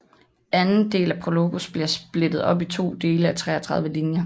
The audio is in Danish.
Anden del af PROLOGOS bliver splittet op i to dele af 33 linjer